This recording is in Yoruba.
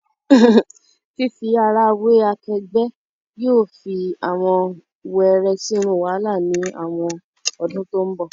Fifi ara we akegbe yóò fi awọn wẹrẹ sinu wahala ni awọn odun to nbo